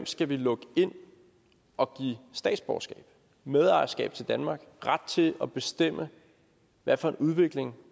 skal lukke ind og give statsborgerskab medejerskab til danmark ret til at bestemme hvad for en udvikling